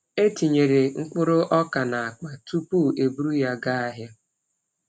E tinyere mkpụrụ ọka n’akpa tupu e buru ya gaa ahịa.